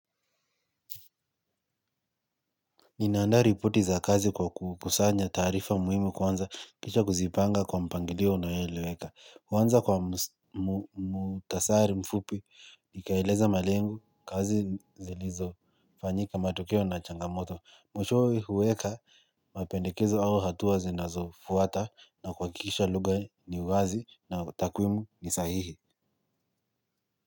Nina andaa ripoti za kazi kwa kukusanya taarifa muhimu kwanza kisha kuzipanga kwa mpangilio unaoeleweka. Kwanza kwa muktasari mfupi, nikieleza malengo, kazi zilizo, fanyika matokeo na changamoto. Mwishowe huweka, mapendekezo au hatua zinazo fuata na kuhakikisha lugha ni wazi na takwimu ni sahihi.